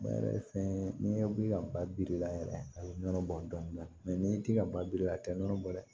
Ba yɛrɛ ye fɛn ye n'i ye wuli ka ba biri i la yɛrɛ a be nɔnɔ bɔ dɔni dɔn n'i ti ka ba biri a tɛ nɔnɔ bɔ dɛ